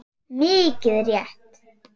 Mikið rétt.